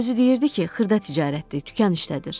Özü deyirdi ki, xırda ticarətdir, dükan işlədir.